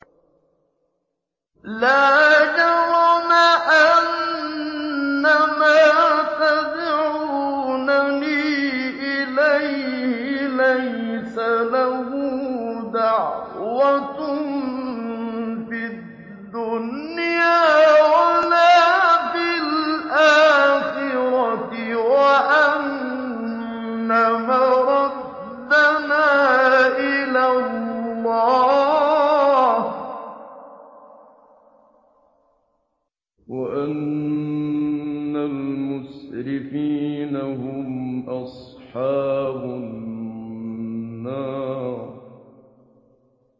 لَا جَرَمَ أَنَّمَا تَدْعُونَنِي إِلَيْهِ لَيْسَ لَهُ دَعْوَةٌ فِي الدُّنْيَا وَلَا فِي الْآخِرَةِ وَأَنَّ مَرَدَّنَا إِلَى اللَّهِ وَأَنَّ الْمُسْرِفِينَ هُمْ أَصْحَابُ النَّارِ